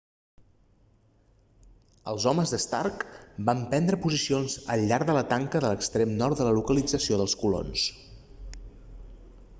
els homes d'stark van prendre posicions al llarg de la tanca de l'extrem nord de la localització dels colons